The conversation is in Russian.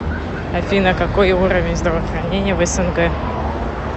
афина какой уровень здравоохранения в снг